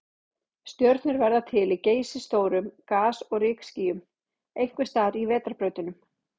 Stjörnur verða til í geysistórum gas- og rykskýjum, einhvers staðar í vetrarbrautunum.